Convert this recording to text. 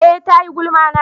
eh ta yi gulma na